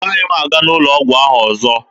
Agaghị m aga n'ụlọ ọgwụ ahụ ọzọ